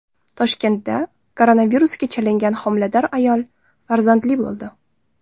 Toshkentda koronavirusga chalingan homilador ayol farzandli bo‘ldi.